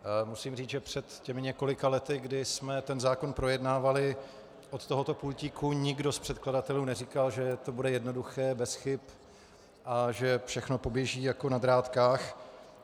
Musím říct, že před těmi několika lety, kdy jsme ten zákon projednávali od tohoto pultíku, nikdo z předkladatelů neříkal, že to bude jednoduché, bez chyb a že všechno poběží jako na drátkách.